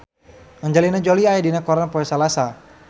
Angelina Jolie aya dina koran poe Salasa